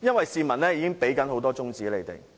因為市民已給他們很多"中指"了。